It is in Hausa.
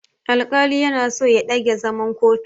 Alƙalin yana so ya ɗage zaman kotun.